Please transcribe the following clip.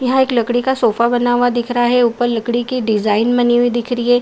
यहाँ एक लकड़ी का सोफा बना हुआ दिख रहा है। उपर लकड़ी की डिजाईन बनी हुई दिखाई दे रही है।